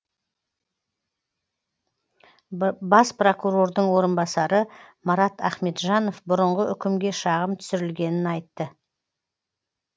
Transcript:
бас прокурордың орынбасары марат ахметжанов бұрынғы үкімге шағым түсірілгенін айтты